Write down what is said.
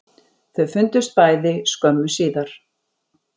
Þau fundust bæði skömmu síðar